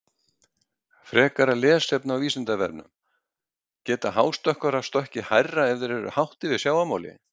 Frekara lesefni á Vísindavefnum: Geta hástökkvarar stokkið hærra ef þeir eru hátt yfir sjávarmáli?